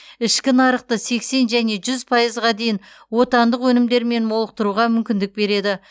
ішкі нарықты сексен және жүз пайызға дейін отандық өнімдермен молықтыруға мүмкіндік береді